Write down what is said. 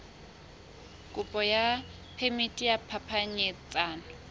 kopo ya phemiti ya phapanyetsano